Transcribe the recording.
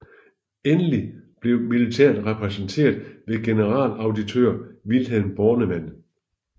Endelig blev militæret repræsenteret ved generalauditør Vilhelm Bornemann